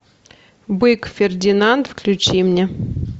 бык фердинанд включи мне